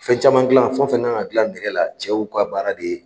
Fɛn caman dilan fɛn fɛn kan ka dila nɛgɛ la, cɛw ka baara de ye